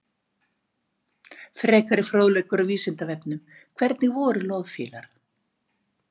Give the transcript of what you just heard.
Frekari fróðleikur á Vísindavefnum: Hvernig voru loðfílar?